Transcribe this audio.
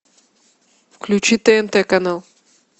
включи тнт канал